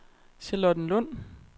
Charlottenlund